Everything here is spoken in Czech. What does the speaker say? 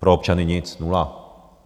Pro občany nic, nula.